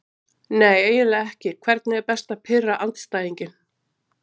Nei eiginlega ekki Hvernig er best að pirra andstæðinginn?